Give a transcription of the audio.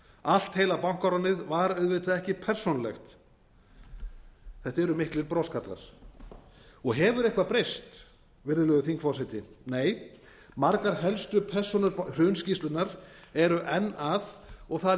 allt heila bankaránið var auðvitað ekki persónulegt þetta eru miklir broskarlar hefur eitthvað breyst virðulegur þingforseti nei margar helstu persónur hrunskýrslunnar eru enn að og það í